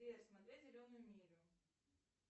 сбер смотреть зеленую милю